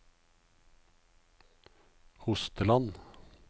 Hosteland